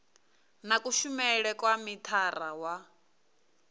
na kushumele kwa mithara wa